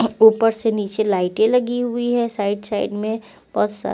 up उपर से निचे लाइटे लगी हुई है साइड साइड में बोत सा--